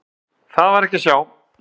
Það var þó ekki að sjá.